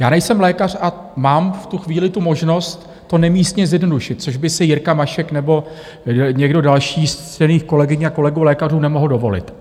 Já nejsem lékař a mám v tuto chvíli tu možnost to nemístně zjednodušit, což by si Jirka Mašek nebo někdo další z ctěných kolegyň a kolegů lékařů nemohl dovolit.